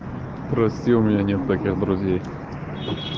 прости у меня нет таких друзей